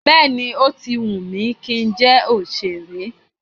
Bẹ́ẹ̀ni, ó ti wù mí kí n jẹ́ òṣèré.